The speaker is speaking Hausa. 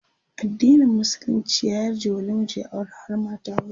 addinin musulunci ya yarje wa namiji ya aure har mata huɗu